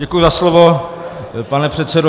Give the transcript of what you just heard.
Děkuji za slovo, pane předsedo.